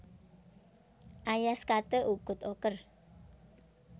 Ayas kate ukut oker